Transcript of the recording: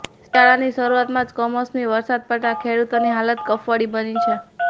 શિયાળાની શરૂઆતમાં જ કમોસમી વરસાદ પડતા ખેડૂતોની હાલત કફોડી બની છે